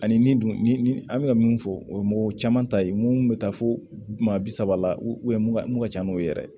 Ani min dun ni an bɛka ka mun fɔ o ye mɔgɔ caman ta ye mun bɛ taa fo maa bi saba la mun ka ca n'o ye yɛrɛ